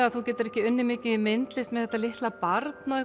að þú getir ekki unnið mikið í myndlist með þetta litla barn og